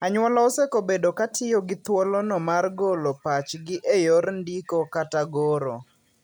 Anyuola osekobedo katiyo gi thulono mar golo pachgi e yor ndiko kata goro.